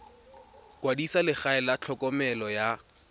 kwadisa legae la tlhokomelo ya